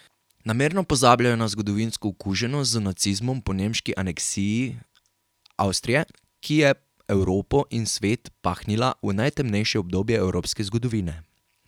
Namerno pozabljajo na zgodovinsko okuženost z nacizmom po nemški aneksiji Avstrije, ki je Evropo in svet pahnila v najtemnejše obdobje evropske zgodovine.